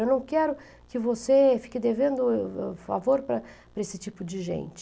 Eu não quero que você fique devendo favor para esse tipo de gente.